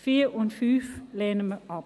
Die Ziffern 4 und 5 lehnen wir ab.